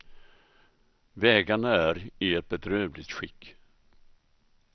Vägarna är i ett bedrövligt skick.